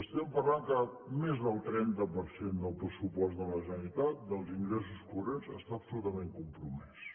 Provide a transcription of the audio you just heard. estem parlant que més del trenta per cent del pressupost de la generalitat dels ingressos corrents està absolutament compromès